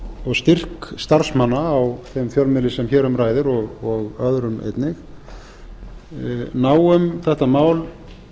og styrk starfsmanna á þeim fjölmiðli sem hér um ræðir og öðrum einnig ná um þetta mál